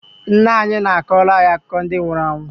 Nnaanyị na-akọrọ anyị akụkọ ndi nwuru anwụ